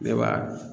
Ne b'a